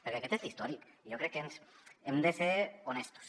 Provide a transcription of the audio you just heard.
perquè aquest és l’històric i jo crec que hem de ser honestos